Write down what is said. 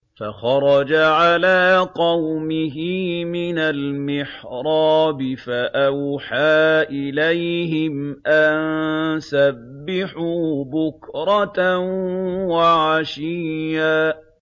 فَخَرَجَ عَلَىٰ قَوْمِهِ مِنَ الْمِحْرَابِ فَأَوْحَىٰ إِلَيْهِمْ أَن سَبِّحُوا بُكْرَةً وَعَشِيًّا